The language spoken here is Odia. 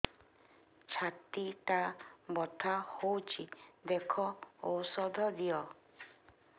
ଛାତି ଟା ବଥା ହଉଚି ଦେଖ ଔଷଧ ଦିଅ